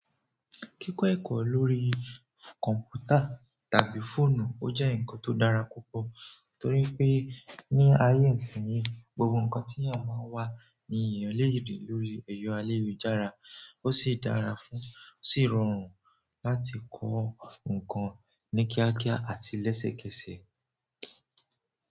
Kíkọ́ ẹ̀kọ́ lórí kọ̀npútà tàbí fóònù ó jẹ́ nǹkan tó dára púpọ̀ torí pé ní ayé ìsìnyí, gbogbo nǹkan tíyàn bá ń wá ní èèyàn lè rí lórí ẹyọ alérujára. Ó sì dára fún, ó sì rọrùn láti kọ́ nǹkan ní kíákíá àti lẹ́sẹ̀kẹsẹ̀.